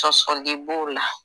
Sɔsɔli b'o la